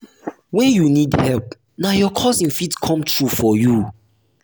. wen you need help na your cousin fit come through for you.